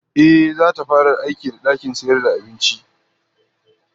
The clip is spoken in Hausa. Ehh, zata fara aiki da dakin sayar da abincin